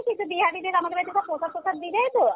কিন্তু বিহারীদের আমাদের বাড়ীতে প্রসাদ টরসাদ দিবে তো